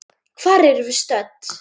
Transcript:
Hvar erum við stödd?